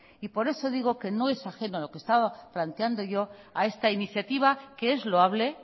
por eso digo que no es ajeno a lo que estaba planteando yo a esta iniciativa que es loable